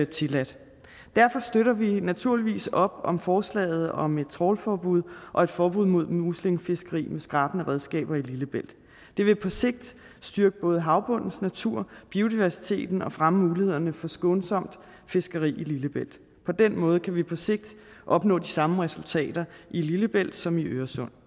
tilladt derfor støtter vi naturligvis op om forslaget om et trawlforbud og et forbud mod muslingefiskeri med skrabende redskaber i lillebælt det vil på sigt styrke både havbundens natur biodiversiteten og fremme mulighederne for skånsomt fiskeri i lillebælt på den måde kan vi på sigt opnå de samme resultater i lillebælt som i øresund